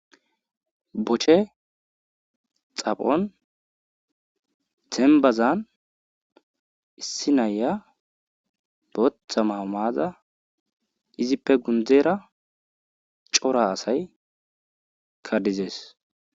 beche xaphon dzenbbazan issi nayiya bootha mawo ma7ada izippe gundzeera cora asaykka dizes.